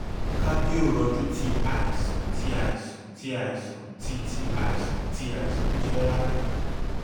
kaaboiroju ti aisan ti aisan ti aisan ti ti aisan ti aisan jẹ rara